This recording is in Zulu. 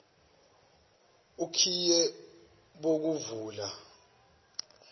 okhiye bokuvula benyamalele